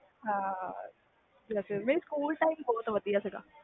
ਹਾਂ school time ਬਹੁਤ ਵਧੀਆ ਸੀ